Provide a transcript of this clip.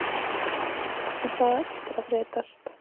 En það á eftir að breytast.